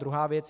Druhá věc.